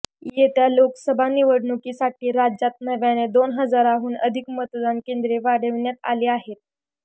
येत्या लोकसभा निवडणुकीसाठी राज्यात नव्याने दोन हजारांहून अधिक मतदान केंद्रे वाढविण्यात आली आहेत